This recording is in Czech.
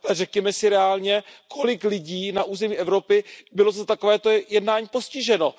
Řekněme si reálně Kolik lidí na území Evropy bylo za takovéto jednání postiženo?